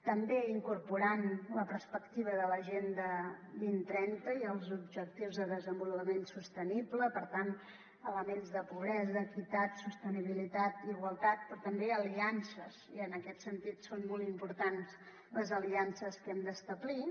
també incorporant·hi la perspectiva de l’agenda dos mil trenta i els objectius de desenvolupament sostenible per tant elements de pobresa equitat sostenibilitat igualtat però també aliances i en aquest sentit són molt importants les aliances que hem d’establir